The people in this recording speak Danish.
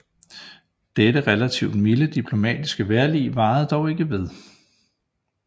Dette relativt milde diplomatiske vejrlig varede dog ikke ved